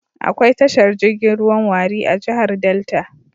Akwai tashar jirgin ruwan Warri a jihar Delta.